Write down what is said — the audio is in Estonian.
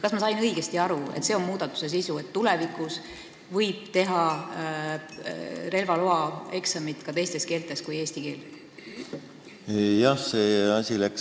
Kas ma sain õigesti aru, et muudatuse sisu on see, et tulevikus võib teha relvaeksamit ka mõnes teises keeles kui eesti keel?